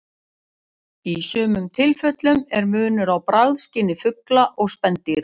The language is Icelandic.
Í sumum tilfellum er munur á bragðskyni fugla og spendýra.